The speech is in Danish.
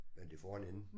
Men det får en ende